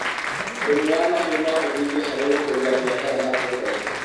ũrĩmi wa mahiũ no ũteithie hari gũkũria bishara matũraini